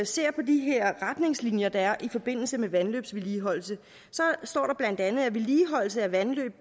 ser på de her retningslinjer der er i forbindelse med vandløbsvedligeholdelse så står der bla at vedligeholdelse af vandløb